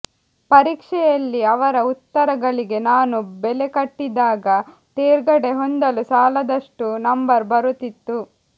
ಪರೀಕ್ಷೆಯಲ್ಲಿ ಅವರ ಉತ್ತರಗಳಿಗೆ ನಾನು ಬೆಲೆಕಟ್ಟಿದಾಗ ತೇರ್ಗಡೆ ಹೊಂದಲೂ ಸಾಲದಷ್ಟು ನಂಬರು ಬರುತ್ತಿತ್ತು